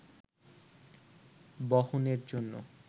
বহনের জন্য